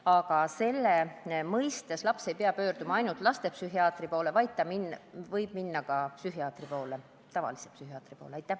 Aga abi saamiseks ei pea laps pöörduma tingimata lastepsühhiaatri poole, vaid ta võib minna ka tavalise psühhiaatri vastuvõtule.